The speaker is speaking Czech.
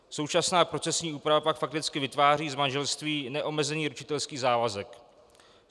Současná procesní úprava pak fakticky vytváří z manželství neomezený ručitelský závazek.